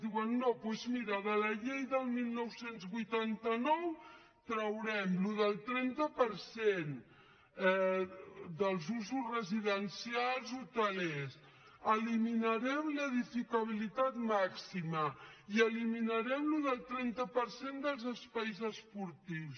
diuen no doncs mira de la llei del dinou vuitanta nou traurem allò del trenta per cent dels usos residencials hotelers eliminarem l’edificabilitat màxima i eliminarem allò del trenta per cent dels espais esportius